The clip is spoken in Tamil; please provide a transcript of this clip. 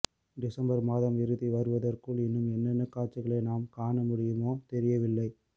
டிசம்பர் மாதம் இறுதி வருவதற்குள் இன்னும் என்னென்ன காட்சிகளை நாம் காண முடியுமோ தெரியவில்லை